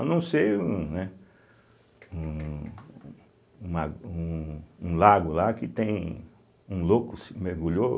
A não ser um, né um um la um um lago lá que tem um louco se mergulhou,